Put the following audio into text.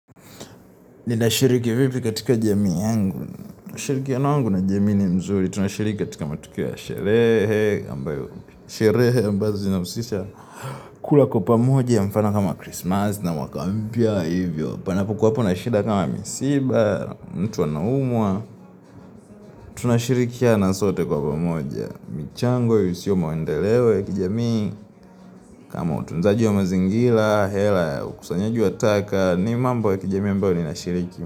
Ninashiriki vipi katika jamii yangu? Ushirikiano yangu na jamii ni mzuri, tunashiriki katika matukio ya sherehe, ambayo, sherehe ambazo zinahusisha kula kwa pamoja ya mfano kama Christmas na mwaka mpya hivyo. Panapokuwapo na shida kama misiba, mtu anaumwa, tunashirikiana sote kwa pamoja, michango yasiyo maendeleo ya kijamii, kama utunzaji wa mazingira, hela ya ukusanyaji wa taka, ni mambo ya kijamii ambayo ninashiriki.